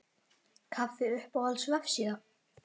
kaffi Uppáhalds vefsíða?